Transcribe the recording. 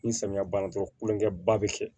Ni samiya banna dɔrɔn kulonkɛ ba bɛ kɛ